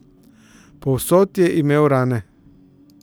Povsod je imel rane.